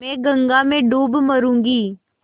मैं गंगा में डूब मरुँगी